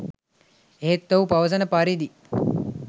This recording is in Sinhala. ඒත් ඔහු පවසන පරිදි